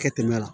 Kɛ tɛmɛ la